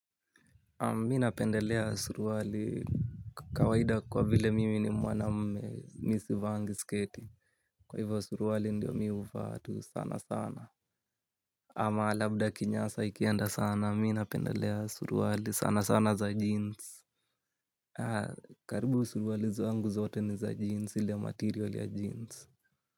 Mimi napendelea suruali. Kawaida kwa vile mimi ni mwanamme mi sivaangi sketi. Kwa hivyo suruali ndiyo mi huvaa tu sana sana. Ama labda kinyasa ikienda sana mimi napendelea suruali sana sana za jeans. Karibu suruali zangu zote ni za jeans ile ya material ya jeans.